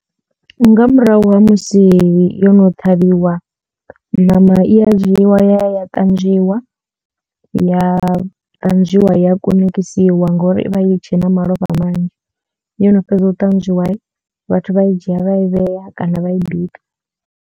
Nga murahu ha musi yo no ṱhavhiwa ṋama i ya dzhiiwa ya ya ya ṱanzwiwa ya kunakisiwa ngori ivha i tshena malofha manzhi yo no fhedza u ṱanzwiwa vhathu vha i dzhia vha i vhea kana vha i bika.